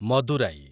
Madurai